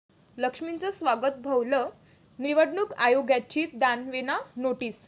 लक्ष्मीचं स्वागत' भोवलं, निवडणूक आयोगाची दानवेंना नोटीस